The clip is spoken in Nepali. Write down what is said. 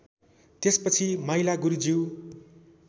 त्यसपछि माइला गुरुज्यू